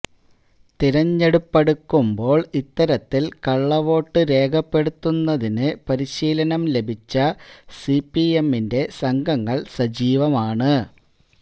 തെരഞ്ഞെടുപ്പടുക്കുമ്പോള് ഇത്തരത്തില് കള്ളവോട്ട് രേഖപ്പെടുത്തുന്നതിന് പരിശീലനം ലഭിച്ച സിപിഎമ്മിന്റെ സംഘങ്ങള് സജീവമാണ്